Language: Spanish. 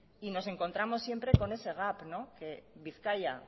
y nos encontramos siempre con ese gap que bizkaia